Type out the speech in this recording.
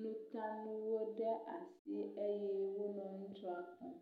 nutanu ɖe asi eye wonɔ ŋutsua kpɔm.